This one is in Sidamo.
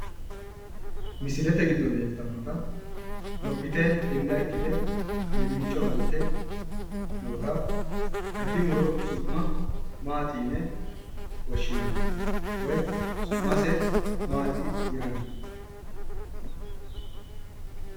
Misilete giddo leeltannota lophite hinda ikkite qalimmicho qalte noota gati muro su'ma Maati yine woshshinanni woy su'mase Maati yinanni?